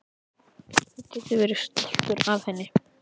Þú getur verið stoltur af henni.